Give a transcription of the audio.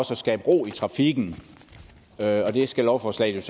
skabe ro i trafikken og der skal lovforslaget